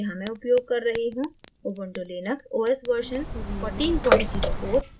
यहाँ मैं उपयोग कर रही हूँ ubuntu लिनक्स os version 1404